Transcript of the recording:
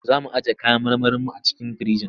Za mu ajiye kayan marmarinmu a cikin firinji.